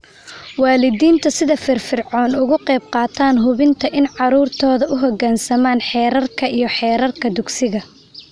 Waalidiinta sida firfircoon uga qayb qaata hubinta in carruurtoodu u hoggaansamaan xeerarka iyo xeerarka dugsiga